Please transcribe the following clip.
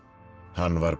hann var